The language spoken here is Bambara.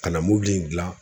Ka na mobili in dilan